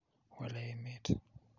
wale emet